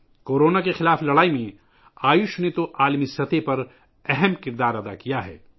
corona کے خلاف جنگ میں آیوش نے تو ، عالمی سطح پر اہم کردار ادا کیا ہے